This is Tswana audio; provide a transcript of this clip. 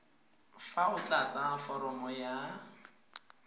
fa o tlatsa foromo ya